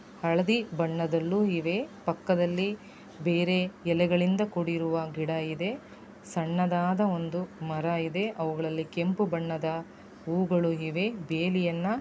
ಹಳದಿ ಬಣ್ಣದಲ್ಲೂ ಇದೆ ಪಕ್ಕದಲ್ಲಿ ಬೇರೆ ಎಲೆಗಳಿಂದ ಕೂಡಿರುವ ಗಿಡ ಇದೆ. ಸಣ್ಣದಾದ ಒಂದು ಮರ ಇದೆ ಅವುಗಳಲ್ಲಿ ಕೆಂಪು ಬಣ್ಣದ ಹೂಗಳು ಇದೆ. ಬೇಲಿಯನ್ನ--